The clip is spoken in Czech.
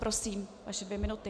Prosím, vaše dvě minuty.